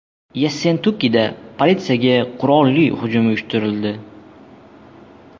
Yessentukida politsiyaga qurolli hujum uyushtirildi.